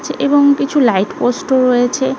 যাচ্ছে এবং কিছু লাইট পোস্ট -ও রয়েছে।